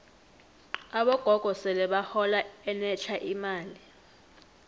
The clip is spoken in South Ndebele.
abogogo sele bahola enetlha imali